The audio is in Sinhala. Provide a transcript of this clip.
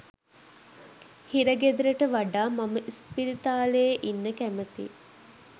හිරගෙදරට වඩා මම ඉස්පිරිතාලයේ ඉන්න කැමතියි